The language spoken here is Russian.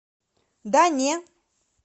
да не